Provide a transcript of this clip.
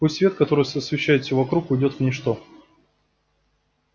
пусть свет который освещает все вокруг уйдёт в ничто